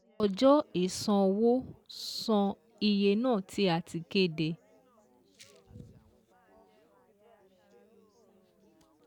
Ọjọ́ ìṣanwó san iye náà tí a ti kéde